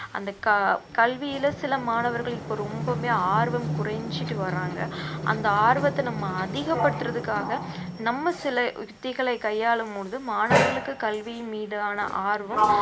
அந்த க~ கல்வியில சில மாணவர்கள் இப்ப ரொம்பவுமே ஆர்வம் குறைஞ்சிட்டு வர்றாங்க அந்த ஆர்வத்தை நம்ம அதிகப்படுத்துறதுக்காக நம்ம சில யுக்திகளை கையாளும் பொழுது மாணவர்களுக்கு கல்வியின் மீதான ஆர்வம்